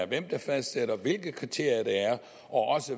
hvem der fastsætter hvilke kriterier der er og også